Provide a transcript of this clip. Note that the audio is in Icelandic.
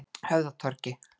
Höfðatorgi